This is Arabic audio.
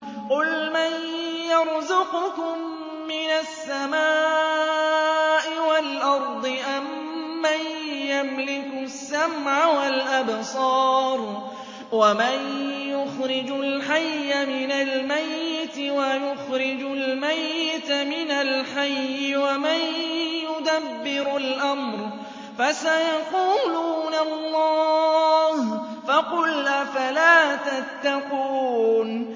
قُلْ مَن يَرْزُقُكُم مِّنَ السَّمَاءِ وَالْأَرْضِ أَمَّن يَمْلِكُ السَّمْعَ وَالْأَبْصَارَ وَمَن يُخْرِجُ الْحَيَّ مِنَ الْمَيِّتِ وَيُخْرِجُ الْمَيِّتَ مِنَ الْحَيِّ وَمَن يُدَبِّرُ الْأَمْرَ ۚ فَسَيَقُولُونَ اللَّهُ ۚ فَقُلْ أَفَلَا تَتَّقُونَ